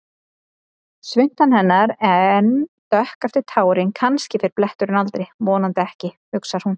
Svuntan hennar enn dökk eftir tárin, kannski fer bletturinn aldrei, vonandi ekki, hugsar hún.